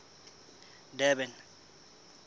durban